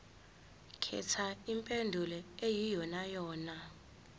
khetha impendulo eyiyonayona